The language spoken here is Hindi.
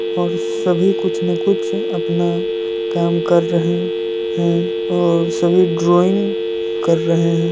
और सभी कुछ न कुछ अपना काम कर रहे है। और सभी ड्रॉइंग कर रहे हैं।